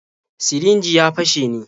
Sirinjin ya fashe ne?